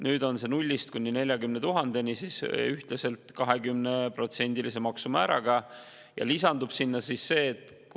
Nüüd on see nullist kuni 40 000 euroni ühtlaselt 20%-lise maksumääraga.